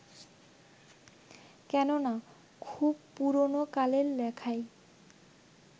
কেননা, খুব পুরোনো কালের লেখায়